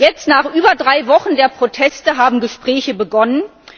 Jetzt nach über drei Wochen der Proteste haben Gespräche begonnen.